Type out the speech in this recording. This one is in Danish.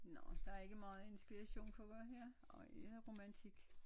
Nå der ikke meget inspiration for hvad her det romantik